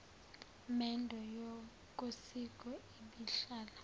mendo yokosiko ibihlala